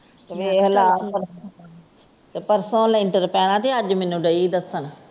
ਵੇਖ ਲੈ ਤੇ ਪਰਸੋ ਲੈਂਟਰ ਪੈਣਾ ਤੇ ਅੱਜ ਮੈਨੂੰ ਡਇ ਦੱਸਣ।